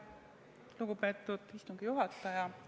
Lugupeetud istungi juhataja!